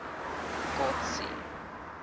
kotsi